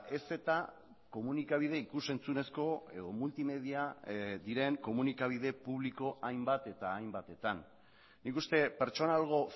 ez eta komunikabide ikus entzunezko edo multimedia diren komunikabide publiko hainbat eta hainbatetan nik uste pertsonalgo